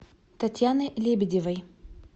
татьяны лебедевой